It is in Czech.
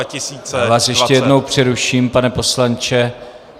Já vás ještě jednou přeruším, pane poslanče.